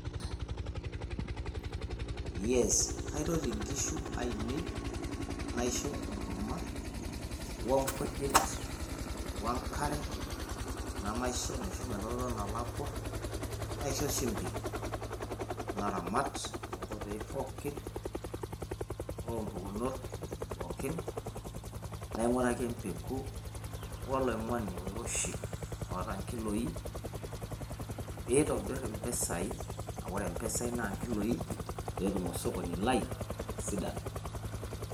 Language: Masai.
kaitoti nkishu ainei naishoo enkurma wonkujit wenkare nemaisho epuo eloloto nalakua naisho shumbi naramat tonkoitoi pookin oompukunot pookin nainguraki empeku oiroshi otaa nkiloi pitobirr impisai aa wore impisai naa nkiloi petum osokoni lai atisidana